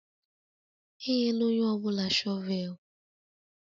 Enyela onye ọ bụla shọvel!